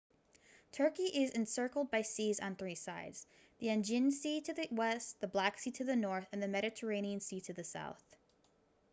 turkey is encircled by seas on three sides the aegean sea to the west the black sea to the north and the mediterranean sea to the south